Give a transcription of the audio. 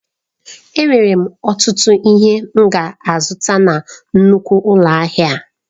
Enwere m ọtụtụ ihe m ga-azụta na nnukwu ụlọ ahịa a.